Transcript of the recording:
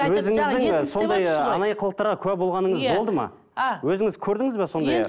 өзіңіздің сондай анайы қылықтарға куә болғаныңыз болды ма а өзіңіз көрдіңіз бе сондай